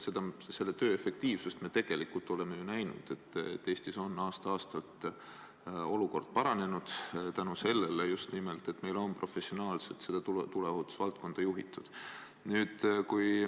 Selle töö efektiivsust me oleme ju näinud: Eestis on aasta-aastalt olukord paranenud just nimelt tänu sellele, et meil on tuleohutusvaldkonda professionaalselt juhitud.